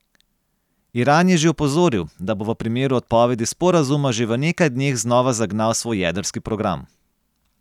Iran je že opozoril, da bo v primeru odpovedi sporazuma že v nekaj dneh znova zagnal svoj jedrski program.